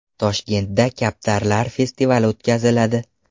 Toshkentda kaptarlar festivali o‘tkaziladi.